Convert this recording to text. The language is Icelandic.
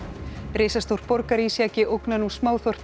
risastór borgarísjaki ógnar nú